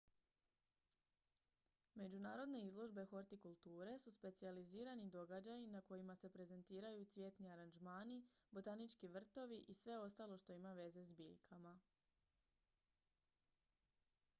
međunarodne izložbe hortikulture su specijalizirani događaji na kojima se prezentiraju cvjetni aranžmani botanički vrtovi i sve ostalo što ima veze s biljkama